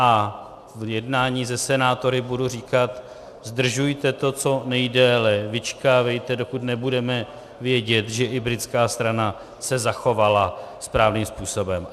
A v jednání se senátory budu říkat: zdržujte to co nejdéle, vyčkávejte, dokud nebudeme vědět, že i britská strana se zachovala správným způsobem.